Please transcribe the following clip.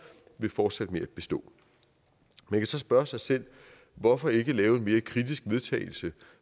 vil fortsætte med at bestå man kan så spørge sig selv hvorfor ikke lave et mere kritisk vedtagelse